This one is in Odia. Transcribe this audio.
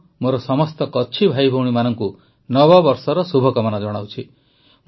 ମୁଁ ମୋର ସମସ୍ତ କଚ୍ଛି ଭାଇଭଉଣୀମାନଙ୍କୁ ନବବର୍ଷର ଶୁଭକାମନା ଜଣାଉଛି